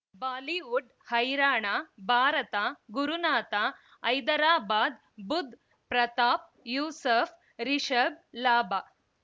Bollywood ಹೈರಾಣ ಭಾರತ ಗುರುನಾಥ ಹೈದರಾಬಾದ್ ಬುಧ್ ಪ್ರತಾಪ್ ಯೂಸುಫ್ ರಿಷಬ್ ಲಾಭ